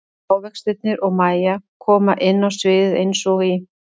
Ávextirnir og Mæja koma inn á sviðið eins og í